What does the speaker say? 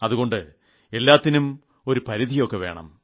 അതുകൊണ്ട് എല്ലാത്തിനും ഒരുപരിധിയൊക്കെവേണം